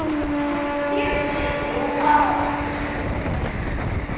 Nú var hann ekki lengur þar.